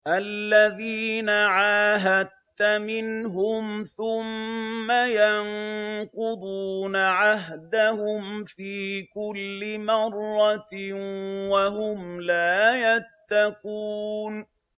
الَّذِينَ عَاهَدتَّ مِنْهُمْ ثُمَّ يَنقُضُونَ عَهْدَهُمْ فِي كُلِّ مَرَّةٍ وَهُمْ لَا يَتَّقُونَ